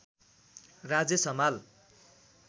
Rajesh Hamal